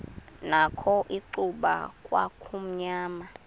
nakho icuba kwakumnyama